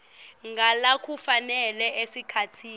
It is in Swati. ngalokufanele esikhatsini